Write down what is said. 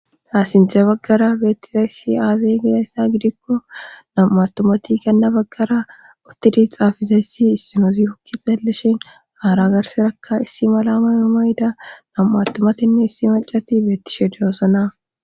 Ha sinthe baggara beettizayssi aazay gidayssa gidikko nam'u attumati kanna baggara uttidi xaafizayssi issino zifokki xaellishen haara garserakka issi mala mayumayda nam'u attumatinne issi macati beettishe diyoosona.